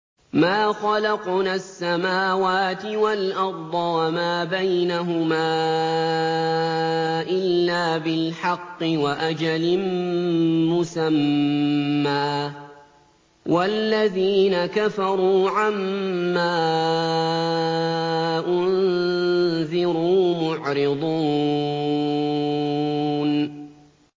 مَا خَلَقْنَا السَّمَاوَاتِ وَالْأَرْضَ وَمَا بَيْنَهُمَا إِلَّا بِالْحَقِّ وَأَجَلٍ مُّسَمًّى ۚ وَالَّذِينَ كَفَرُوا عَمَّا أُنذِرُوا مُعْرِضُونَ